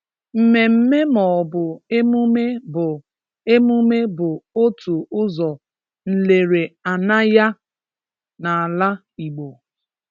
Mmemme maọbụ emume bụ emume bụ otu ụzọ nlereanaya n’ala Igbo.